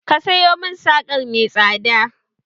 Ka sayo mun sarƙa mai tsada!